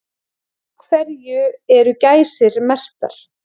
Af hverju eru gæsir merktar?